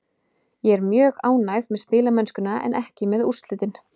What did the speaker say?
Ég er mjög ánægður með spilamennskuna en ekki með úrslitin.